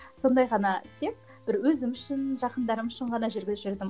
сондай ғана істеп бір өзім үшін жақындарым үшін ғана жүргізіп жүрдім